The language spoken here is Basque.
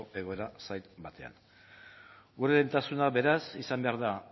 egoera zail batean gure lehentasuna beraz izan behar da